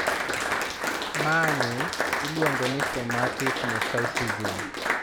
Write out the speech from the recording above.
Mani iluongo ni somatic mosaicism.